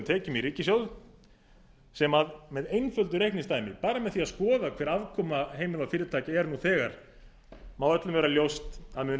tekjum í ríkissjóð sem með einföldu reikningsdæmi bara með því að skoða hver afkoma heimila og fyrirtækja er nú þegar má öllum vera ljóst að mun